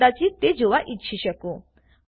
તમે કદાચિત તે જોવા ઈચ્છી શકો